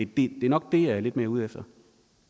det er nok det jeg er lidt mere ud efter